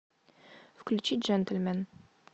включи джентльмен